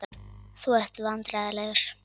Þú ert vandræðalegur.